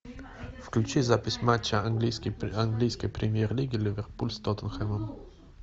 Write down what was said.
включи запись матча английской премьер лиги ливерпуль с тоттенхэмом